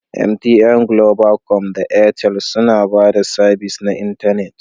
MTN, Globacom da Airtel suna ba da sabis na intanet